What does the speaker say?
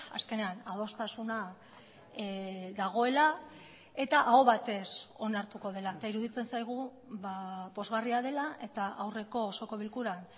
azkenean adostasuna dagoela eta aho batez onartuko dela eta iruditzen zaigu pozgarria dela eta aurreko osoko bilkuran